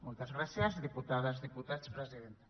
moltes gràcies diputades diputats presidenta